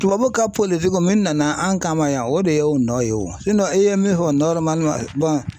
Tubabu ka politigi min nana an kama yan o de ye o nɔ ye o e ye min fɔ